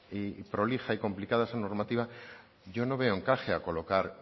y prolija y complicada esa normativa yo no veo encaje a colocar